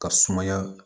Ka sumaya